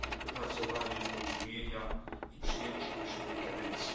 wypracowanie porozumienia i przyjęcie go jeszcze w tej kadencji.